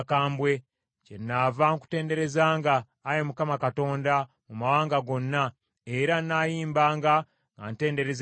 Kyenaava nkutenderezanga, Ayi Mukama Katonda, mu mawanga gonna, era nnaayimbanga nga ntendereza erinnya lyo.